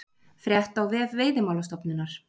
Frétt á vef Veiðimálastofnunar